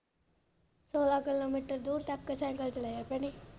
ਸੋਲਾਂ ਦੂਰ ਤਕ ਸੀਕਲੇ ਚਲਾਇਆ ਭੈਣੇ।